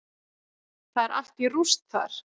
Það er allt í rúst þar.